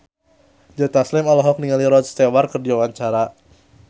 Joe Taslim olohok ningali Rod Stewart keur diwawancara